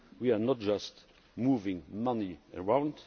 We are not just moving money around